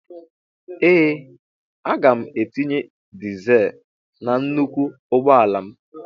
Ee aga m etinye dịzul na nnụkwụ ụgbọala m